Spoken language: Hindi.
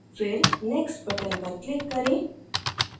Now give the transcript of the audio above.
फिर next button पर click करें